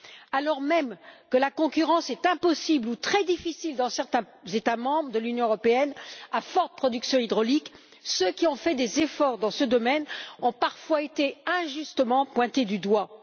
Alors même que la concurrence est impossible, ou très difficile, dans certains États membres de l'Union européenne à forte production hydraulique, ceux qui ont fait des efforts dans ce domaine ont parfois été injustement pointés du doigt.